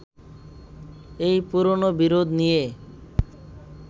এই পুরোনো বিরোধ নিয়ে